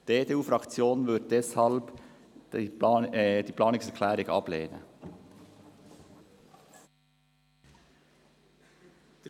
Die EDU-Fraktion lehnt diese Planungserklärung deswegen ab.